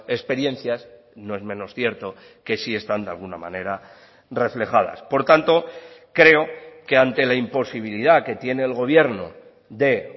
experiencias no es menos cierto que sí están de alguna manera reflejadas por tanto creo que ante la imposibilidad que tiene el gobierno de